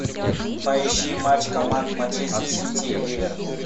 поищи матч команд манчестер сити ливер